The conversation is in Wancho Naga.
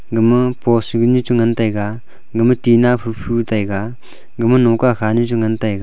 gama post ganu chengan taiga gama tinna phai fu taiga gama nongka khanu chi ngan taiga.